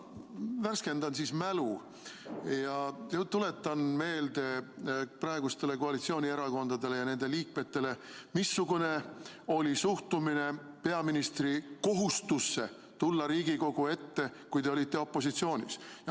Ma värskendan siis mälu ja tuletan meelde praegustele koalitsioonierakondadele ja nende liikmetele, missugune oli suhtumine peaministri kohustusse tulla Riigikogu ette, kui te olite opositsioonis.